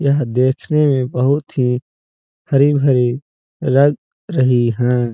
यह देखने में बोहोत ही हरी-भरी लग रही हैं।